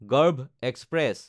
গৰ্ভ এক্সপ্ৰেছ